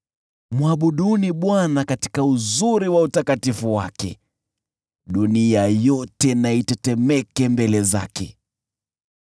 Mwabuduni Bwana katika uzuri wa utakatifu wake; dunia yote na itetemeke mbele zake.